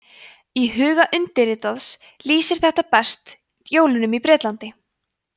í huga undirritaðs lýsir þetta best jólunum á bretlandi